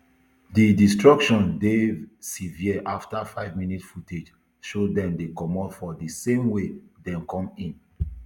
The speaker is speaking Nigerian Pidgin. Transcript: di destruction dey severe afta five minutes footage show dem dey comot for di same way dem come in